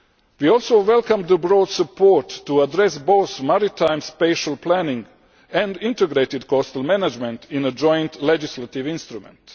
We also welcome the broad support to address both maritime spatial planning and integrated coastal management in a joint legislative instrument.